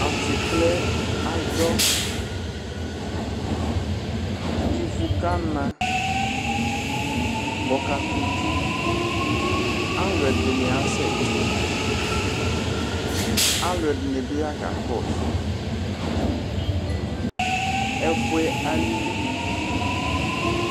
Atsiklɛ adzɔ ivʋ kana kʋ ɔkakʋ ʋdzo alʋe ɛdini asɛ ti alʋ ɛdini bi yakakɔsʋ ɛfʋe alili